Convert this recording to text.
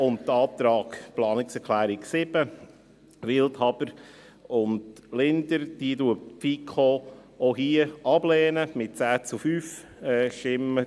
Und zum Antrag Planungserklärung 7, Wildhaber und Linder: Diese lehnt die FiKo auch hier ab, mit 10 zu 5 Stimmen.